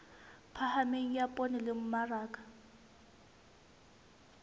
phahameng ya poone le mmaraka